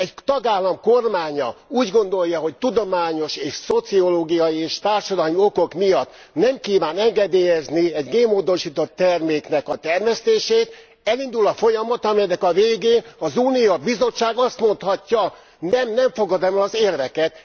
Egy tagállam kormánya úgy gondolja, hogy tudományos, szociológiai és társadalmi okok miatt nem kívánja engedélyezni egy génmódosított terméknek a termesztését, elindul a folyamat, amelynek a végén az Unió, a Bizottság azt mondhatja, nem, nem fogadom el az érveket!